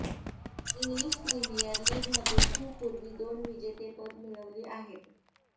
English premier लीगमध्ये खूप पूर्वी दोन विजेतेपदे मिळवली आहेत